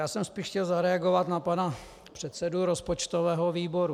Já jsem spíš chtěl zareagovat na pana předsedu rozpočtového výboru.